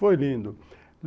Foi lindo.